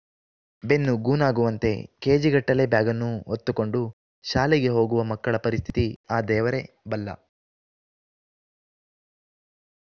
ಬೆನ್ನು ಗೂನಾಗುವಂತೆ ಕೇಜಿಗಟ್ಟಲೆ ಬ್ಯಾಗನ್ನು ಹೊತ್ತುಕೊಂಡು ಶಾಲೆಗೆ ಹೋಗುವ ಮಕ್ಕಳ ಪರಿಸ್ಥಿತಿ ಆ ದೇವರೇ ಬಲ್ಲ